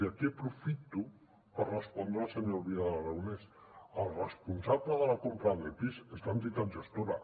i aquí aprofito per respondre al senyor vidal aragonès el responsable de la compra d’epis és l’entitat gestora